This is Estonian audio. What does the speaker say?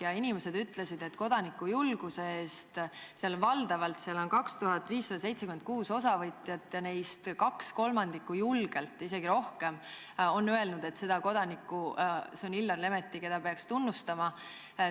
Ja inimesed ütlesid – seal oli 2576 osavõtjat ja neist julgelt 2/3, isegi rohkem, on öelnud, et see kodanik, keda peaks tunnustama, on Illar Lemetti.